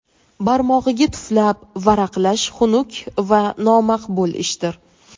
barmog‘iga tuflab varaqlash xunuk va nomaqbul ishdir.